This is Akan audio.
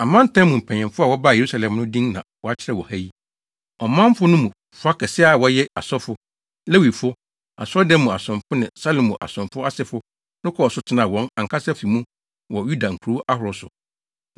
Amantam mu mpanyimfo a wɔbaa Yerusalem no din na wɔakyerɛw wɔ ha yi. Ɔmanfo no mu fa kɛse a wɔyɛ asɔfo, Lewifo, Asɔredan mu asomfo ne Salomo asomfo asefo no kɔɔ so tenaa wɔn ankasa afi mu wɔ Yuda nkurow ahorow so,